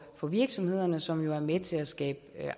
for virksomhederne som jo er med til at skabe